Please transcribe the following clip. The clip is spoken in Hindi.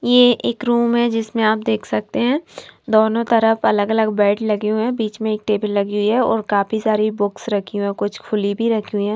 ये एक रूम है जिसमें आप देख सकते हैं दोनों तरफ अलग-अलग बेड लगे हुए हैं बीच में एक टेबल लगी हुई है और काफी सारी बुक्स रखी हुई है कुछ खुली भी रखी हुई हैं।